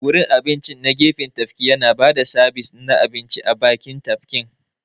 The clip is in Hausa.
Gurin abincin na gefen tafki yana ba da sabis na abinci a bakin tafkin.